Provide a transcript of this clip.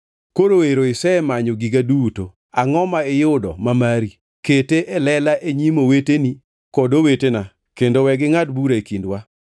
Koro ero isemanyo giga duto, angʼo ma iyudo ma mari? Kete e lela e nyim oweteni kod owetena kendo we gingʼad bura e kindwa.